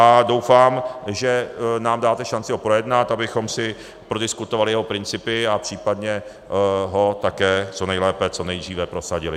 A doufám, že nám dáte šanci ho projednat, abychom si prodiskutovali jeho principy a případně ho také co nejlépe, co nejdříve prosadili.